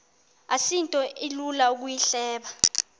asinto ilula ukuyihleba